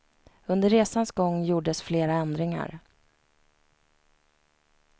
Under resans gång gjordes flera ändringar.